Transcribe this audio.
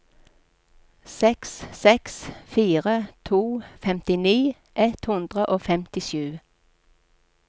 seks seks fire to femtini ett hundre og femtisju